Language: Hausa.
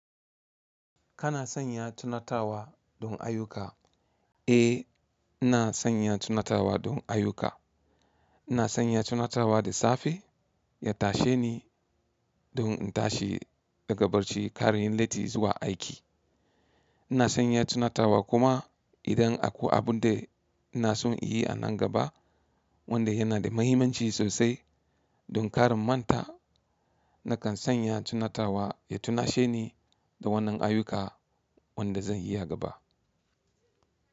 Kana sanya tunatarwa don ayyuka? Eh, ina sanya tunatarwa don ayuka. Ina sanya tunatarwa da safe ya tashe ni don in tashi daga barci, kar inyi latti zuwa aiki. Ina sanya tunatarwa kuma idan akwai abun da ina son in yi a nan gaba wanda yana da muhimmanci sosai don kar in manta, nakan sanya tunatarwa ya tunashe ni da wannan ayuka wanda zan yi a gaba.